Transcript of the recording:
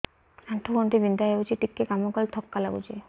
ଆଣ୍ଠୁ ଗଣ୍ଠି ବିନ୍ଧା ହେଉଛି ଟିକେ କାମ କଲେ ଥକ୍କା ଲାଗୁଚି